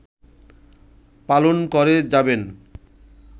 পালন করে যাবেন